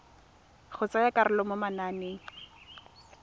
go tsaya karolo mo mananeng